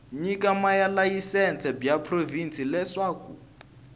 nyika malayisense bya provhinsi leswaku